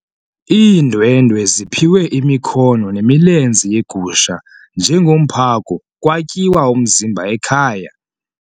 Iindwendwe ziphiwe imikhono nemilenze yegusha njengomphako kwatyiwa umzimba ekhaya.